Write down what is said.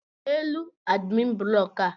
rie elu adimin buloku a!